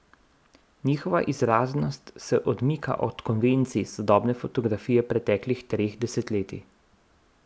Njihova izraznost se odmika od konvencij sodobne fotografije preteklih treh desetletij.